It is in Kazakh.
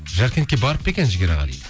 жаркентке барып па екен жігер аға дейді